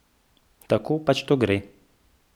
Tako pač to gre.